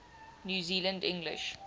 new zealand english